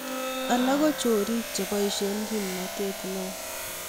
alak ko chorik cheboishe kimnatet ne o